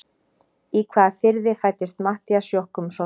Í hvaða firði fæddist Matthías Jochumsson?